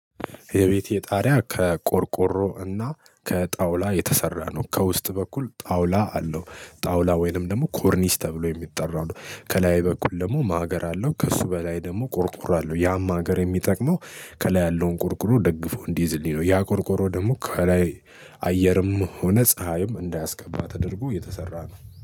የቤቴ ጣሪያ ከቆርቆሮ እና ከጣውላ የተሰራ ነው። ከውስጥ በኩል ጣውላ አለው። ጣውላ ወይንም ደግሞ ኮርኒስ ተብሎ የሚጠራው ከላይ በኩል ደግሞ ማገር አለው ከእሱ በላይ ደግሞ ቆርቆሮ አለው ያም ማገር የሚጠቅመው ከላይ ያለውን ቆርቆሮ ደግፎ እንዲይዝልኝ ነው። ያ ቆርቆሮ ደግሞ ከላይ አየርም ሆነ ፀሀይም እንዳያስገባ ተደርጎ የተሰራ ነው